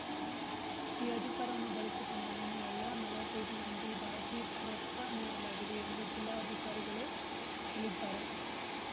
ಈ ಅಧಿಕಾರವನ್ನು ಬಳಸಿಕೊಂ‌ಡು ನಿನ್ನೆ ಎಲ್ಲಾ ನಲ್ವತ್ತೈದು ಮಂದಿ ಭಾರತೀಯ ಪೌರತ್ವ ನೀಡಲಾಗಿದೆ ಎಂದು ಜಿಲ್ಲಾಕಾರಿಗಳು ಹೇಳಿದ್ದಾರೆ